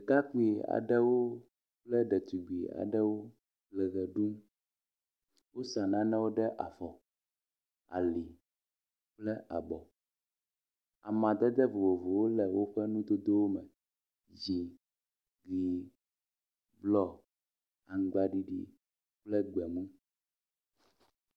Ɖekakpui aɖewo kple ɖetugbui aɖewo le ʋe ɖum. Wosa nanewo ɖe afɔ, ali kple abɔ. Amadede vovovowo le woƒe nudodowo me, dzi, ʋɛ̃, blɔ, aŋgbaɖiɖi kple gbemu.